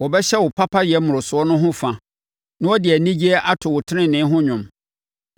Wɔbɛhyɛ wo papayɛ mmorosoɔ no ho fa, na wɔde anigyeɛ ato wo tenenee ho dwom.